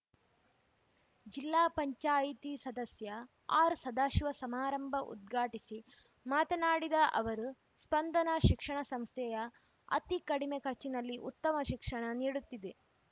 ಜಿಲ್ಲಾ ಪಂಚಾಯಿತಿ ಸದಸ್ಯ ಆರ್‌ ಸದಾಶಿವ ಸಮಾರಂಭ ಉದ್ಘಾಟಿಸಿ ಮಾತನಾಡಿದ ಅವರು ಸ್ಪಂದನ ಶಿಕ್ಷಣ ಸಂಸ್ಥೆಯ ಅತಿ ಕಡಿಮೆ ಖರ್ಚಿನಲ್ಲಿ ಉತ್ತಮ ಶಿಕ್ಷಣ ನೀಡುತ್ತಿದೆ